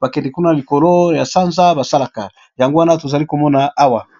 basala n'a sanza